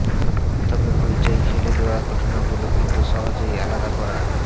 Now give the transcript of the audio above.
তবে হইচই ফেলে দেওয়া ঘটনাগুলো কিন্তু সহজেই আলাদা করা